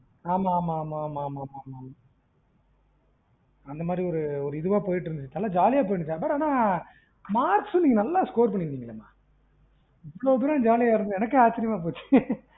ஆமா ஆமா ஆமா ஆமா அந்தமாறி ஒரு இதுவா போயிட்டுஇருந்தது நல்ல ஜாலியா போயிட்டுஇருந்தது but ஆனா marks நீங்க நல்ல score பன்னீருந்திங்களே மா, இவ்ளோ தூரம் ஜாலியா இருந்துட்டு எனக்கே ஆச்சிரியமா போயிருச்சு